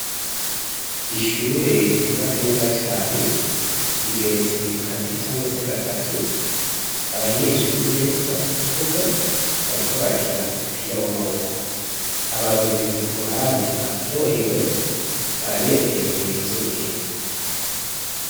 Ishure ry'ubatse neza cane, rigetse kabiri canke gatatu, abanyeshure bari mu kibuga bariko barakina umupira w'amaboko. Abarorerezi ku ruhande baryohewe, baranezerewe birenze urugero.